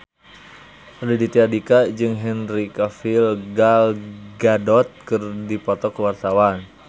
Raditya Dika jeung Henry Cavill Gal Gadot keur dipoto ku wartawan